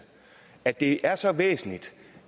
at det er så væsentligt